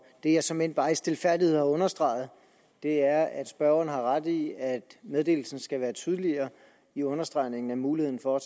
det jeg såmænd bare i stilfærdighed har understreget er at spørgeren har ret i at meddelelsen skal være tydeligere i understregningen af muligheden for at